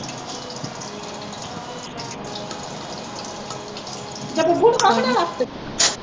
ਅਤੇ ਬੱਬੂ ਨੂੰ ਕਹਿ ਬਣਾ ਲੈ